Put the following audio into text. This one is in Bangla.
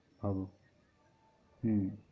হম হম